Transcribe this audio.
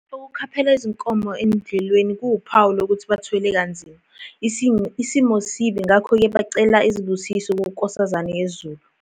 Ukukhaphela izinkomo edlelweni kuwuphawu lokuthi bathwele kanzima, isimo sibi ngakho-ke bacela izibusizo kuNkosazane yezulu.